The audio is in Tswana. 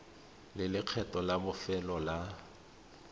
le lekgetho la bofelo la